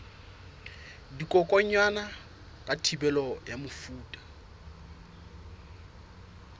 dikokwanyana ka thibelo ya mefuta